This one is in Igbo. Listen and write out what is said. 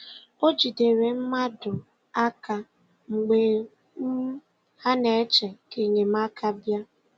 O jidere mmadụ aka mgbe um ha na-eche ka enyemaka bịa